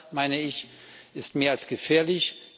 Das, meine ich, ist mehr als gefährlich!